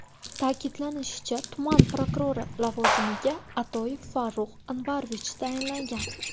Ta’kidlanishicha, tuman prokurori lavozimiga Atoyev Farruh Anvarovich tayinlangan.